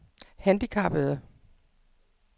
handicappede